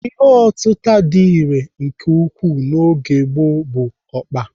Ihe otịta dị irè nke ukwuu n'oge gboo bụ ọkpa.